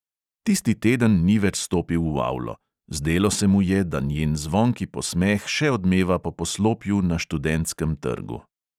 Tisti teden ni več stopil v avlo; zdelo se mu je, da njen zvonki posmeh še odmeva po poslopju na študentskem trgu.